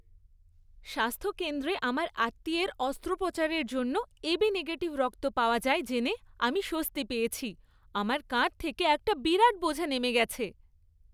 স্বাস্থ্য কেন্দ্রে আমার আত্মীয়ের অস্ত্রোপচারের জন্য এবি নেগেটিভ রক্ত পাওয়া যায় জেনে আমি স্বস্তি পেয়েছি। আমার কাঁধ থেকে একটা বিরাট বোঝা নেমে গেছে।